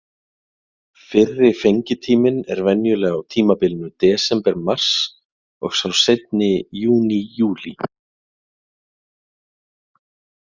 Fyrri fengitíminn er venjulega á tímabilinu desember-mars og sá seinni í júní-júlí.